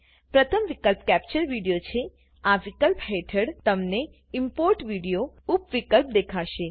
પ્રથમ વિકલ્પ capture video છેઆ વિકલ્પ હેઠળ તમને ઈમ્પોર્ટ વિડિયોએ ઉપ વિકલ્પ દેખાશે